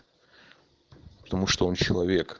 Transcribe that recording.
потому что он человек